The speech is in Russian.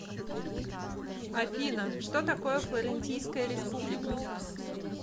афина что такое флорентийская республика